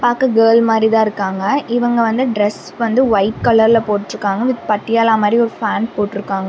பாக்க கேர்ள் மாரி தா இருக்காங்க இவங்க வந்து டிரஸ் வந்து ஒயிட் கலர் ல போட்ருக்காங்க வித் பட்டியாலா மாரி ஒரு ஃபேண் போட்ருக்காங்க.